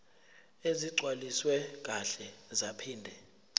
ezigcwaliswe kahle zaphinde